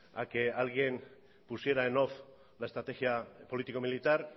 a que alguien pusiera en off la estrategia político militar